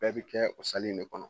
Bɛɛ bɛ kɛ o in de kɔnɔ